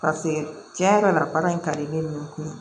Paseke cɛ yɛrɛ la baara in ka di ne ye